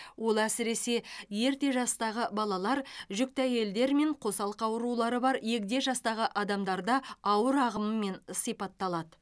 ол әсіресе ерте жастағы балалар жүкті әйелдер мен қосалқы аурулары бар егде жастағы адамдарда ауыр ағымымен сипатталады